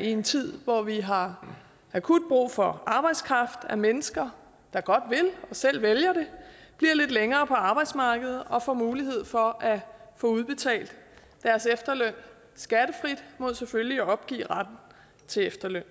i en tid hvor vi har akut brug for arbejdskraft at mennesker der godt vil og selv vælger det bliver lidt længere på arbejdsmarkedet og får mulighed for at få udbetalt deres efterløn skattefrit mod selvfølgelig at opgive retten til efterløn